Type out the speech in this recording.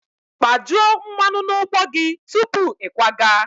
Kpajuo mmanụ na ụgbọ gị tupu ịkwaga!